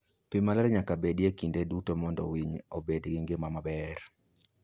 Pi maler nyaka bedie kinde duto mondo winy obed gi ngima maber.